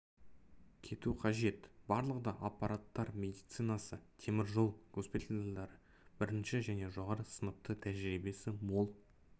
кету қажет барлығы да апаттар медицинасы темір жол госпитальдары бірінші және жоғары сыныпты тәжірибесі мол